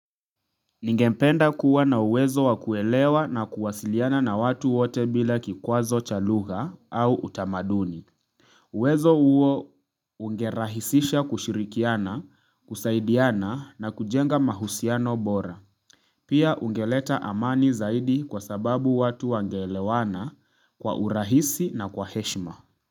Ningependa kuwa na uwezo wa kuelewa na kuwasiliana na watu wote bila kikwazo cha lugha au utamaduni uwezo uwo ungerahisisha kushirikiana, kusaidiana na kujenga mahusiano bora Pia ungeleta amani zaidi kwa sababu watu wangeelewana kwa urahisi na kwa heshima.